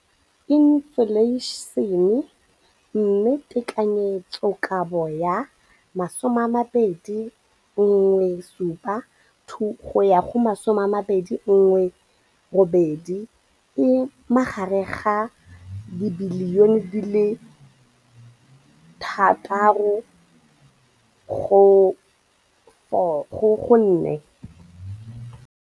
Infleišene, mme tekanyetsokabo ya 2017, 18, e magareng ga R6.4 bilione.